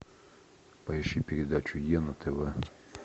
поищи передачу е на тв